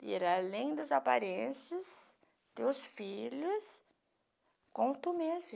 Ver além das aparências teus filhos com tu mesmo.